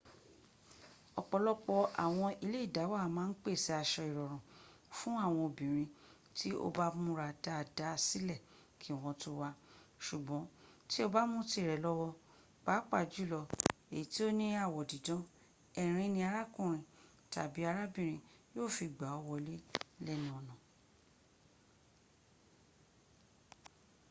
ọ̀pọ̀lọpọ̀ àwọn ilẹ́ ìdáwà máà n pẹ̀sẹ̀ asọ ìrọ̀rùn fún àwọn obìnrin tí o ba mùra dada sìlẹ ki wọn tọ wá sùgbọn ti o bá mú tirẹ lọwọ paapaa julọ eyi to ni awọ didan ẹrin in arakunrin tabi arabinrin yo fi gba ọ wole lẹnu ọna